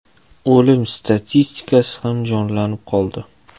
O‘lim statistikasi ham jonlanib qoldi.